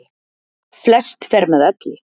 Flest fer með elli.